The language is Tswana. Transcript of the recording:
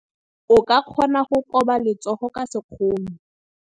O ka kgona go koba letsogo ka sekgono.